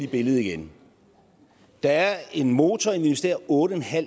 billedet igen der er en motor investerer otte